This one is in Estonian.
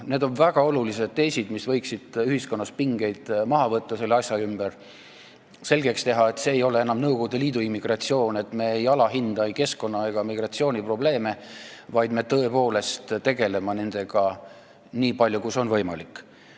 Need on väga olulised teesid, mis võiksid ühiskonnas selle asja ümbert pingeid maha võtta ja teha selgeks, et see ei ole enam Nõukogude Liidu immigratsioon, et me ei alahinda ei keskkonna- ega migratsiooniprobleeme, vaid me tõepoolest tegeleme nendega nii palju, kui see on võimalik.